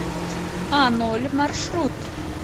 аноль маршрут